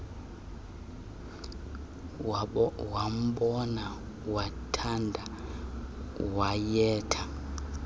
wambona wamthanda wayemthe